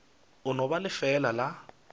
e no ba lefeela la